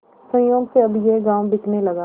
संयोग से अब यह गॉँव बिकने लगा